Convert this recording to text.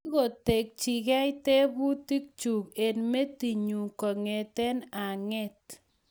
Kiketchikei tebutik chu eng metinyu kongete ang'et